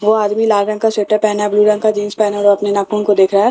वो आदमी लाल रंग का स्वेटर पहना है ब्लू रंग का जींस पहना है और अपने नाखून को देख रहा है --